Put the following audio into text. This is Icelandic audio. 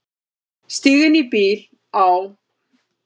Stíg inn í bíl, á.